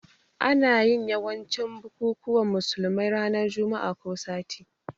Ana yin yawancin bukukuwan musulmai ranan Juma'ah ko sati